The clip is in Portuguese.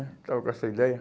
né, estava com essa ideia.